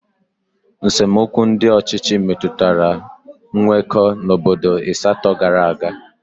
nsemokwu ndị ọchịchị metụtara nkwekọ n'obodo Ista gara aga.